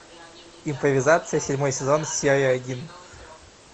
импровизация седьмой сезон серия один